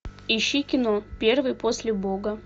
ищи кино первый после бога